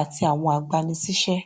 àti àwọn agbanisíṣẹ